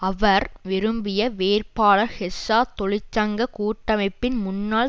அவர் விரும்பிய வேட்பாளர் ஹெஸ்ஸ தொழிற்சங்க கூட்டமைப்பின் முன்னாள்